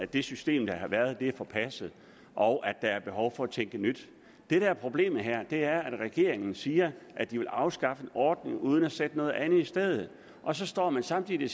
det system der har været er forpasset og der er behov for at tænke nyt det der er problemet her er at regeringen siger at de vil afskaffe en ordning uden at sætte noget andet i stedet og så står man samtidig